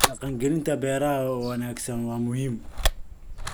Dhaqangelinta beeraha wanaagsan waa muhiim.